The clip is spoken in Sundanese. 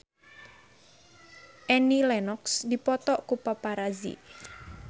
Annie Lenox dipoto ku paparazi